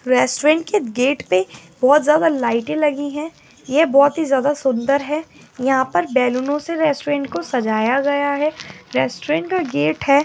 रेस्टोरेंट के गेट पे लाइटें लगी हुई है ये बहुत ही ज्यादा सुंदर है यहां पर बैलूनो से रेस्टुरेंट को सजाया गया है रेस्टोरेंट का गेट है।